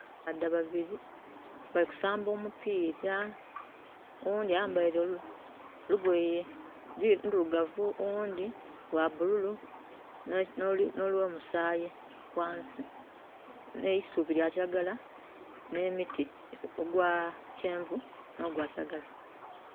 Abasaadha babili, bali kusaamba omupiira. Owundi ayambaire olugoye ndirugavu, owundhi lwa bululu no lwo musaayi ghansi, n'eisubi lya kiragala n'emiti, ogwa kyenvu no gwa kiragala.